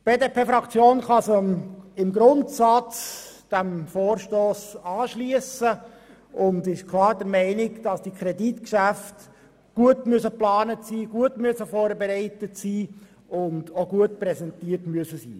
Die BDP-Fraktion kann sich im Grundsatz diesem Vorstoss anschliessen und ist klar der Meinung, dass Kreditgeschäfte gut und fundiert geplant, vorbereitet und auch präsentiert werden müssen.